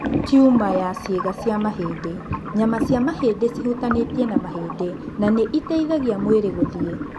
Tumor ya ciĩga cia mahĩndĩ :nyama cia mahĩndĩ cĩhutanĩtie na mahĩndĩ na nĩ iteithagia mwĩrĩ gũthiĩ.